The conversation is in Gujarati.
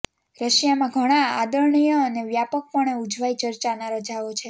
રશિયામાં ઘણા આદરણીય અને વ્યાપકપણે ઉજવાય ચર્ચના રજાઓ છે